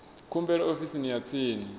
khumbelo ofisini ya tsini ya